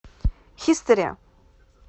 хистори